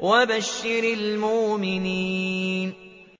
وَبَشِّرِ الْمُؤْمِنِينَ